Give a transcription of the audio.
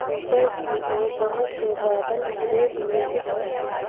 ऊपर की ओर बहुत से बादल घिरे हुए दिख रहे हैं।